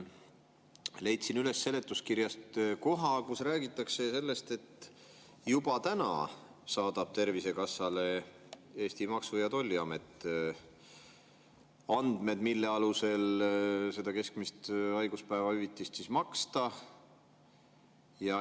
Leidsin seletuskirjast üles koha, kus räägitakse sellest, et juba nüüd saadab Eesti Maksu‑ ja Tolliamet Tervisekassale andmeid, mille alusel seda keskmist haiguspäevahüvitist maksta.